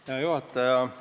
Hea juhataja!